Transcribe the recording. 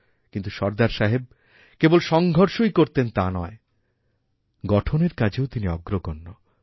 কিন্তু সর্দার সাহেবকেবল সংঘর্ষই করতেন তা নয় গঠনের কাজেও তিনি অগ্রগণ্য